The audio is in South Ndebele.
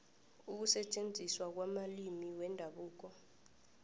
ukusetjenziswa kwamalimi wendabuko